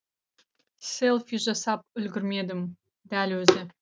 селфи жасап үлгермедім дәл өзі